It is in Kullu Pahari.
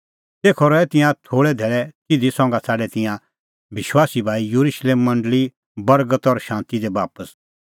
तेखअ रहै तिंयां थोल़ै धैल़ै तिधी संघा छ़ाडै तिंयां विश्वासी भाई येरुशलेम मंडल़ी बर्गत और शांती दी बापस